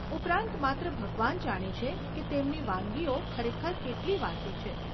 ઉપરાંત, માત્ર ભગવાન જાણે છે કે તેમની વાનગીઓ ખરેખર કેટલી વાસી છે.